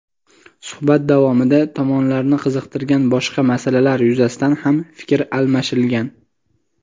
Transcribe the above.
Suhbat davomida tomonlarni qiziqtirgan boshqa masalalar yuzasidan ham fikr almashilgan.